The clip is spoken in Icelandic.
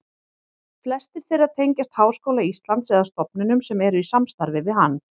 Flestir þeirra tengjast Háskóla Íslands eða stofnunum sem eru í samstarfi við hann.